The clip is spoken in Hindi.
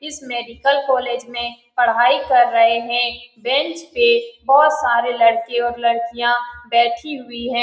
इस कॉलेज में पढाई कर रही है बेंच पे बहोत सारे लड़के और लडकिया बैठी हुई है।